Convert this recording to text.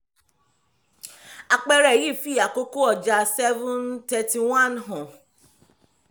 àpẹẹrẹ yìí fi àkókò ọjà seven thirty one hàn